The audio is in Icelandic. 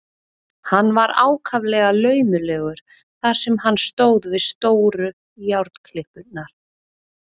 Hann var ákaflega laumulegur þar sem hann stóð við stóru járnklippurnar.